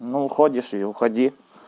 ну уходишь и уходи